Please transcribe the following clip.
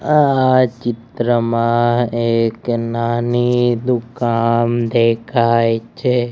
આ ચિત્રમાં એક નાની દુકાન દેખાય છે.